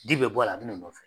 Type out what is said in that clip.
Di bɛ bɔ a la a bɛ na i nɔfɛ.